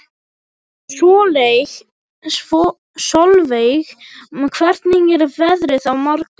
Solveig, hvernig er veðrið á morgun?